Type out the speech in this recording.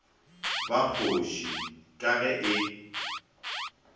ba kgoši ka ge e